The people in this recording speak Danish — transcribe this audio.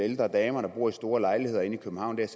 ældre damer der bor i store lejligheder inde i københavn jeg